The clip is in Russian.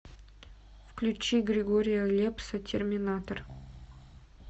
включи григория лепса терминатор